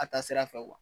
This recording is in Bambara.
A taa sira fɛ